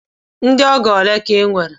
Ndị ọgọ ole ka i nwere?